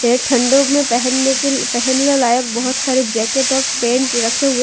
ये ठंडो में पहनने के पहनने लायक बहुत सारे जैकेट और पैंट रखे हुए।